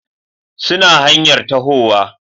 suna hanyar tahowa